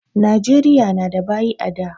Nijeriya na da baƴi a da